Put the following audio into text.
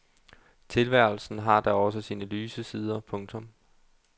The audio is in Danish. Tilværelsen har da også sine lyse sider. punktum